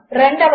రెండవది